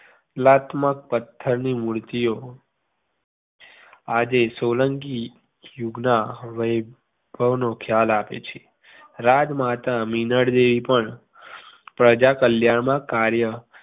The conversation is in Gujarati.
કલાત્મક પથ્થરની મૂર્તિઓ આજે સોલંકી યુગના વૈભવનો ખ્યાલ આપે છે રાજમાતા મીનળદેવી પણ પ્રજા કલ્યાણના કાર્ય